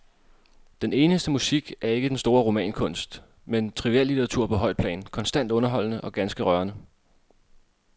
Den eneste musik er ikke den store romankunst, men triviallitteratur på højt plan, konstant underholdende og ganske rørende.